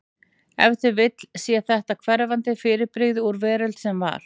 Ef til vill sé þetta hverfandi fyrirbrigði úr veröld sem var.